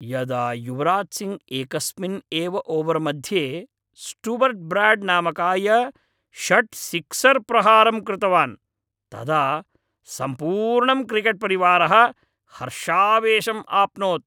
यदा युवराज् सिङ्घ् एकस्मिन् एव ओवर् मध्ये स्टूवर्ट् ब्राड् नामकाय षट् सिक्सर् प्रहारं कृतवान्, तदा सम्पूर्णं क्रिकेट् परिवारः हर्षावेशम् आप्नोत्।